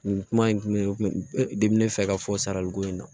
Nin kuma in tun bɛ ne kun diminen fɛ ka fɔ saraliko in na